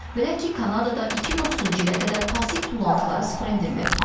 Belə ki, Kanadada 2030-cu ilə qədər plastik tullantıları sıfıra endirmək planı var.